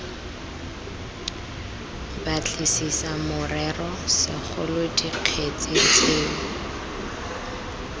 batlisisa morero segolo dikgetse tseo